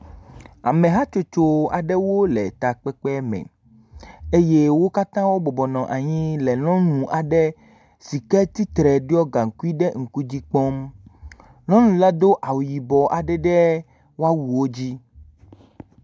Amehatsotso aɖewo le takpekpe aɖe me eye wo katã wobɔbɔ nɔ anyi le nyɔnu aɖe si ke tsitre ɖɔ gaŋkui ɖe ŋku dzi kpɔm. Nyɔnua do awu yibɔ aɖe ɖe eƒe awuwo dzi.